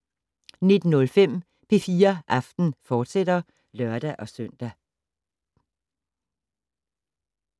19:05: P4 Aften, fortsat (lør-søn)